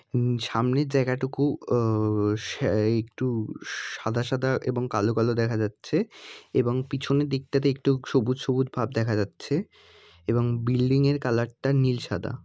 উম সামনে জায়গাটুকু আহ সা একটু সাদা সাদা এবং কালো কালো দেখা যাচ্ছে এবং পিছনের দিকটাতে একটু সবুজ সবুজ ভাব দেখা যাচ্ছে এবং বিল্ডিং এর কালার টা নীল সাদা--